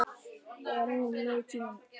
Og enn leið tíminn.